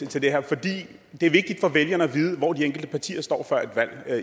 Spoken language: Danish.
til det her for det er vigtigt for vælgerne at vide hvor de enkelte partier står før et valg